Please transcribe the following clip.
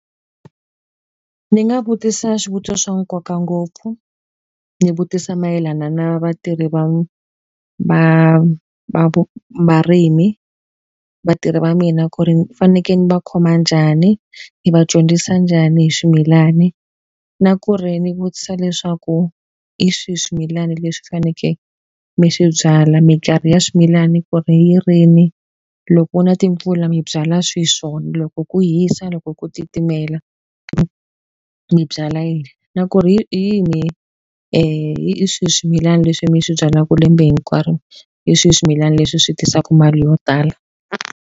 Ndzi nga vutisa swivutiso swa nkoka ngopfu, ni vutisa mayelana na vatirhi va va varimi, vatirhi va mina ku ri ni fanekele ni va khoma njhani? Ni va dyondzisa njhani hi swimilani? Na ku ri ni vutisa leswaku hi swihi swimilana leswi fanekele mi swi byala? Minkarhi ya swimilana ku ri rini, loko ku na timpfula mi byala swihi swona? Loko ku hisa, loko ku ku titimela mi byala yini? Na ku ri hi hi swihi swimilana leswi mi swi byalaka lembe hinkwaro? Hi swihi swimilana leswi swi tisaka mali yo tala?